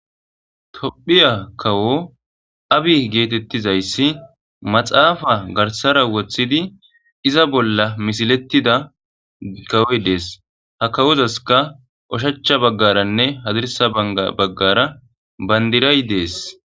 tophiya kawo abi geetettizayssi maxaafa garsara woththidi iza bolla misilettida gawoy dees ha kawozaska oshacha baggaranne hazirsa banga baggara bandiray dees